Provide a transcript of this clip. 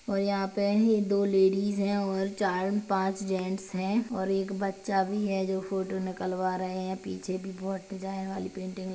और यहां पे दो लेडिस है और चार पांच जेंट्स है और एक बच्चा भी है जो फोटो निकलवा रहे है पीछे भी बहोत डिजाईन वाली पेंटिंग --